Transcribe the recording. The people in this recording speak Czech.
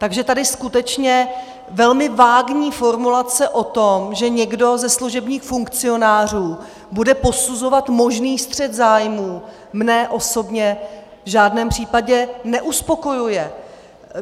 Takže tady skutečně velmi vágní formulace o tom, že někdo ze služebních funkcionářů bude posuzovat možný střet zájmů, mě osobně v žádném případě neuspokojuje.